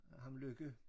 Ham Lykke